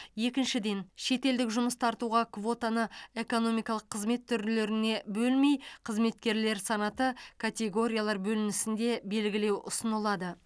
екіншіден шетелдік жұмыс тартуға квотаны экономикалық қызмет түрлеріне бөлмей қызметкерлер санаты категориялар бөлінісінде белгілеу ұсынылады